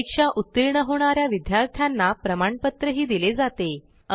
परीक्षा उत्तीर्ण होणा या विद्यार्थ्यांना प्रमाणपत्रही दिले जाते